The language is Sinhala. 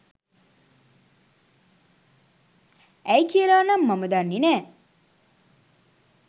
ඇයි කියලා නම් මම දන්නෙ නෑ.